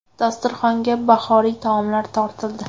Dasturxonga bahoriy taomlar tortildi.